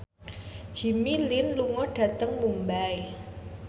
Jimmy Lin lunga dhateng Mumbai